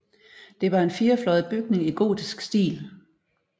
Det var en firefløjet bygning i gotisk stil